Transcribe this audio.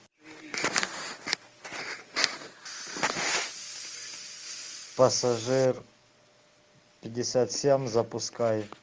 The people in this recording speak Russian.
пассажир пятьдесят семь запускай